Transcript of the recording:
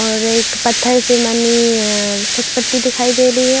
और एक पत्थर से बनी अअ सदपट्टी दिखाई दे रही है।